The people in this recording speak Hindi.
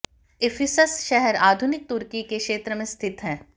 इफिसस शहर आधुनिक तुर्की के क्षेत्र में स्थित है